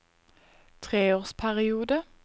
treårsperiode